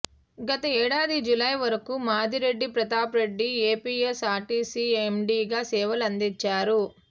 గత ఏడాది జులై వరకు మాదిరెడ్డి ప్రతాప్ రెడ్డి ఏపీఎస్ ఆర్టీసీ ఎండీగా సేవలు అందించారు